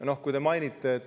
Vanglaid te mainisite.